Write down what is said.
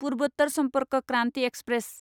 पुर्वोत्तर Sampark Kranti express